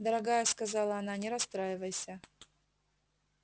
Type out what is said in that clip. дорогая сказала она не расстраивайся